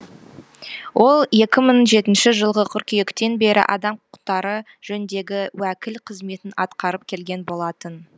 ол екі мың жетінші жылғы қыркүйектен бері адам құқықтары жөніндегі уәкіл қызметін атқарып келген болатын